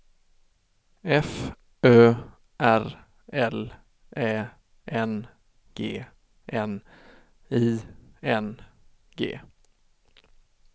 F Ö R L Ä N G N I N G